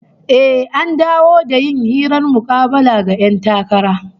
Eh, an dawo da yin hirar mukabala ga 'yan takara